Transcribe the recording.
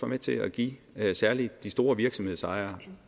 med til at give særlig de store virksomhedsejere